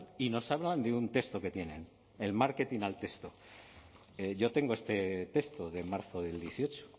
y nos hablan de un texto que tienen el marketing al texto yo tengo este texto de marzo del dieciocho